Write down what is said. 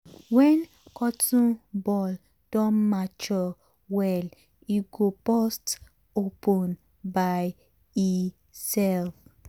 wen cotton ball don mature well e go burst open by e self.